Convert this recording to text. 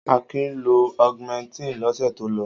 Akin lo Augumentin lọ́sẹ̀ tó lọ.